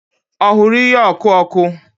Ọ hụrụ ihe ọkụ ọkụ?